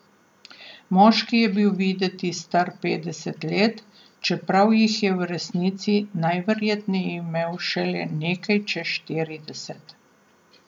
Moški je bil videti star petdeset let, čeprav jih je v resnici najverjetneje imel šele nekaj čez štirideset.